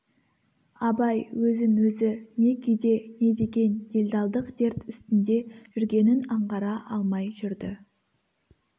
абай өзін өзі не күйде не деген делдалдық дерт үстінде жүргенін аңғара алмай жүрді